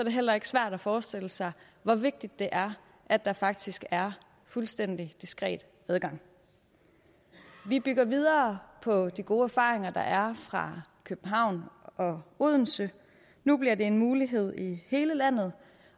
det heller ikke svært at forestille sig hvor vigtigt det er at der faktisk er fuldstændig diskret adgang vi bygger videre på de gode erfaringer der er fra københavn og odense nu bliver det en mulighed i hele landet